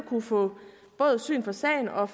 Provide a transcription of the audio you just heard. få syn for sagen og